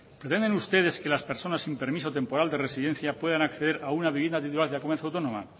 pretenden ustedes que las personas sin permiso temporal de residencia puedan acceder a una vivienda titular de la comunidad autónoma